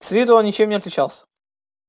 с виду он ничем не отличался